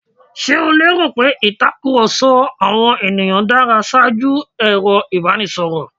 Ṣe o lẹ́rò pé ìtakùrọ̀sọ àwọn ènìyàn dára ṣaájú ẹ̀rọ ìbánisọ̀rọ̀?